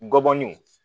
Ngɔbɔninw